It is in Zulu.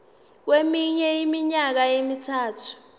kweminye iminyaka emithathu